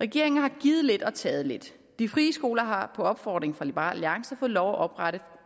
regeringen har givet lidt og taget lidt de frie skoler har på opfordring fra liberal alliance fået lov til at oprette